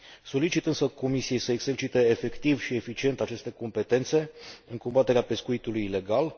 Solicit însă Comisiei să exercite efectiv și eficient aceste competențe în combaterea pescuitului ilegal.